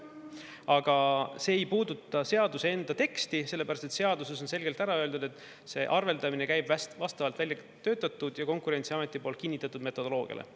Aga see ei puuduta seaduse enda teksti, sellepärast et seaduses on selgelt ära öeldud, et see arveldamine käib vastavalt väljatöötatud ja Konkurentsiameti poolt kinnitatud metodoloogiale.